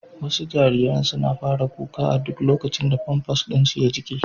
Wasu jariran suna fara kuka a duk lokacin da famfas ɗin su ya jike.